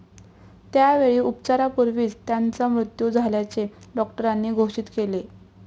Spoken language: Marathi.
त्यावेळी उपचारापूर्वीच त्याचा मृत्यू झाल्याचे डॉक्टरांनी घोषित केले.